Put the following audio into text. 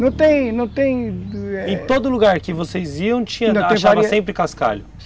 Não tem, não tem... Em todo lugar que vocês iam, tinha, achava sempre cascalho?